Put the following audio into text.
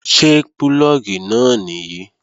Ṣé púlọ̀gì náà nìyí?